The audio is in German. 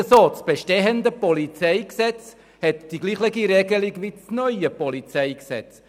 Das bestehende PolG hat die gleiche Regelung wie das neue PolG.